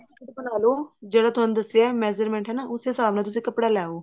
ਬਣਾਲੋ ਜਿਹੜਾ ਤੁਹਾਨੂੰ ਦੱਸਿਆ measurement ਹਨਾ ਉਸ ਹਿਸਾਬ ਨਾਲ ਤੁਸੀਂ ਕੱਪੜਾ ਲੈ ਆਉ